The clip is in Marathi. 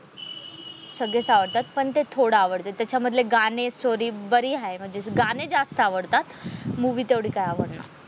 सगळेच आवडतात पण ते थोडं आवडतात त्याच्यामधले गाणे स्टोरी बारी आहे म्हणजे गाणे जास्त आवडतात मूवी तेवढी काय आवडणं.